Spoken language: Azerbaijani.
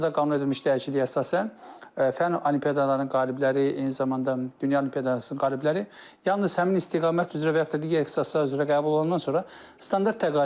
Təhsil haqqında qanuna edilmiş dəyişikliyə əsasən, fənn olimpiadalarının qalibləri, eyni zamanda dünya olimpiadalarının qalibləri yalnız həmin istiqamət üzrə və yaxud da digər ixtisaslar üzrə qəbul olandan sonra standart təqaüd alırlar.